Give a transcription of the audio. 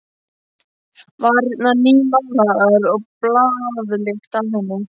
Varirnar nýmálaðar og baðlykt af henni.